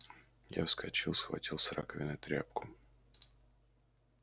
я вскочил схватил с раковины тряпку